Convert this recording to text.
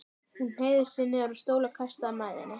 Hún hneig niður á stól og kastaði mæðinni.